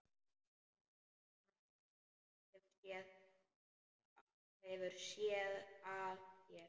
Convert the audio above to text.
Hann hefur SÉÐ AÐ SÉR.